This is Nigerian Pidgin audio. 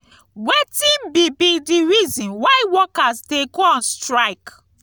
wetin be be di reason why workers dey go on strike?